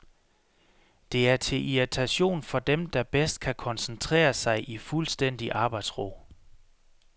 Det er til irritation for dem, der bedst kan koncentrere sig i fuldstændig arbejdsro.